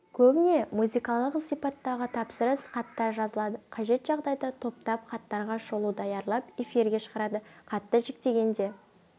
көбіне музыкалық сипаттағы тапсырыс хаттар жазылады қажет жағдайда топтап хаттарға шолу даярлап эфирге шығарады хатты жіктегенде